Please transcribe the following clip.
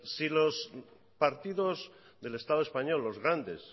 si los partidos del estado español los grandes